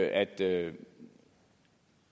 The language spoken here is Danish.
at det